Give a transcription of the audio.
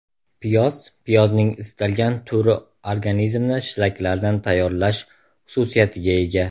Piyoz Piyozning istalgan turi organizmni shlaklardan tayyorlash xususiyatiga ega.